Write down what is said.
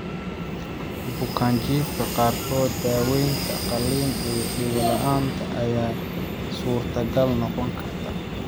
Bukaanjiifka qaarkood, daawaynta qalliin ee dhego la'aanta ayaa suurtagal noqon karta.